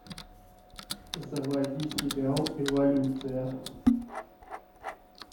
заводи сериал эволюция